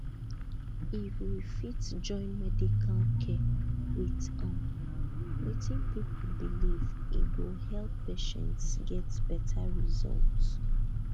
if we fit join medical care with um wetin people believe e go help patients get better result